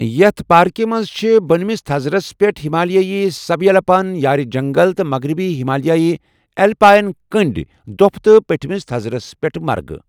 یِیٛتھ parks مَنٛز چِھ بٕنمِس تَھزرَس پٮ۪ٹھ ہِمالیایی سَب یلپایِن یارِ جَنٛگَل تہٕ مَغرِبی ہِمالیایی ایلپایِن کٔنٛڈۍ دۄپِھہٕ تہٕ پٮ۪ٹھِمِس تَھزرَس پٮ۪ٹھ مرگہٕ ۔